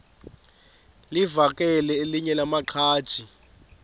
livakele elinye lamaqhaji